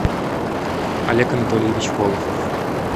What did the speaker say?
олег анатольевич волохов